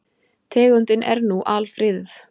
Tegundin er nú alfriðuð.